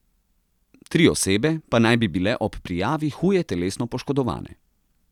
Tri osebe pa naj bi bile ob prijavi huje telesno poškodovane.